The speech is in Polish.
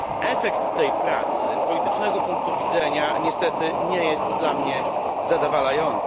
Efekt tej pracy z politycznego punktu widzenia niestety nie jest dla mnie zadowalający.